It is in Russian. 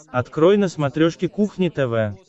открой на смотрешке кухня тв